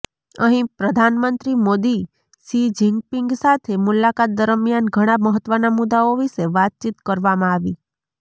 અહીં પ્રધાનમંત્રી Modi Xi Jinping સાથે મુલાકાત દરમિયાન ઘણાં મહત્વના મુદ્દાઓ વિશે વાતચીત કરવામાં આવી